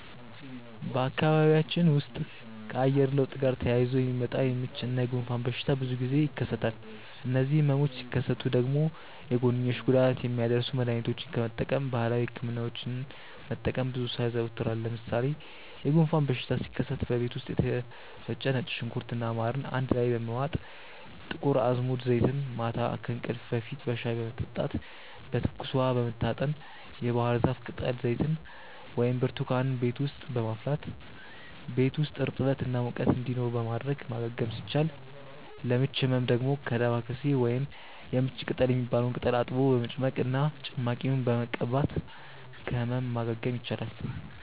በአካባቢያችን ውስጥ ከአየር ለውጥ ጋር ተያይዞ የሚመጣ የምች እና የጉንፋን በሽታ ብዙ ጊዜ ይከሰታሉ። እነዚህ ህመሞች ሲከሰቱ ደግሞ የጎንዮሽ ጉዳት የሚያደርሱ መድሀኒቶችን ከመጠቀም ባህላዊ ህክምናዎችን መጠቀምን ብዙ ሰው ያዘወትራል። ለምሳሌ የጉንፋን በሽታ ሲከሰት በቤት ውስጥ የተፈጨ ነጭ ሽንኩርት እና ማርን አንድ ላይ በመዋጥ፣ የጥቁር አዝሙድ ዘይትን ማታ ከእንቅልፍ በፊት በሻይ በመጠጣት፣ በትኩስ ውሃ በመታጠን፣ የባህርዛፍ ቅጠል ዘይትን ወይም ብርቱካንን ቤት ውስጥ በማፍላት ቤት ውስጥ እርጥበት እና ሙቀት እንዲኖር በማድረግ ማገገም ሲቻል፤ ለምች ህመም ደግሞ ዳማከሴ ወይም የምች ቅጠል የሚባለውን ቅጠል አጥቦ በመጭመቅ እና ጭማቂውን በመቀባት ከህመም ማገገም ይቻላል።